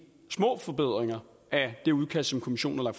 små forbedringer af det udkast som kommissionen har